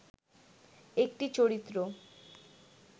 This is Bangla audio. একটি চরিত্র